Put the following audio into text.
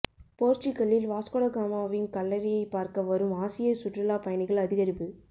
போர்ச்சுகல்லில் வாஸ்கோடகாமாவின் கல்லறையைப் பார்க்க வரும் ஆசிய சுற்றுலாப் பயணிகள் அதிகரிப்பு